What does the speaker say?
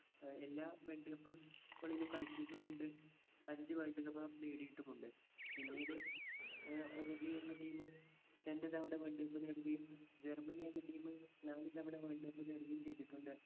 അഹ് എല്ലാ world cup കളിലും കളിച്ചിട്ടുമുണ്ട് അഞ്ചു world cup അഹ് നേടിയിട്ടുമുണ്ട് പിന്നീട് ഏർ ഉറുഗേ എന്ന team രണ്ട് തവണ world cup നേടുകയും ജർമനി എന്ന team നാല് തവണ world cup നേടുകയും ചെയ്തിട്ടുണ്ട്